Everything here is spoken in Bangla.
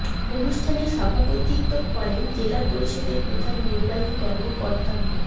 অনুষ্ঠানে সভাপতিত্ব করেন জেলা পরিষদের প্রধান নির্বাহী কর্মকর্তা মো